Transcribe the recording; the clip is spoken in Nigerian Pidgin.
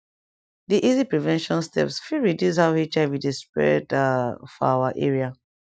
di easy prevention steps fit reduce how hiv dey spread ah for our area